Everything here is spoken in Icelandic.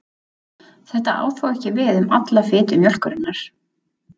Þetta á þó ekki við um alla fitu mjólkurinnar.